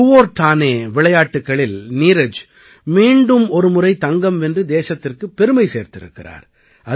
Kuortane விளையாட்டுக்களில் நீரஜ் மீண்டும் ஒரு முறை தங்கம் வென்று தேசத்திற்குப் பெருமை சேர்த்திருக்கிறார்